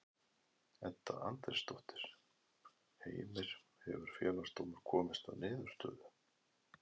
Edda Andrésdóttir: Heimir, hefur Félagsdómur komist að niðurstöðu?